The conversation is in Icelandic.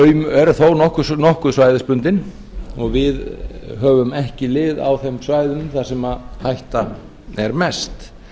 þau eru þó nokkuð svæðisbundin og við höfum ekki lið á þeim svæðum þar sem hætta er mest